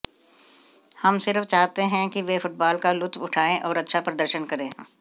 हम सिर्फ चाहते हैं कि वे फुटबाल का लुत्फ उठायें और अच्छा प्रदर्शन करें